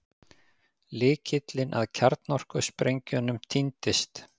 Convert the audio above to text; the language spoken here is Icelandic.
Lykillinn að kjarnorkusprengjunum týndist